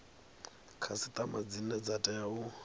khasiṱama dzine dza tea u